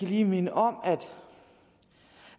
lige minde om